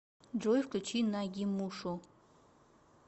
джой включи нагимушу